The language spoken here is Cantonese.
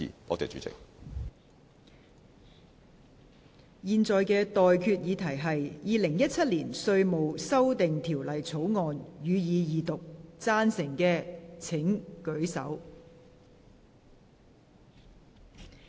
我現在向各位提出的待決議題是：《2017年稅務條例草案》，予以二讀。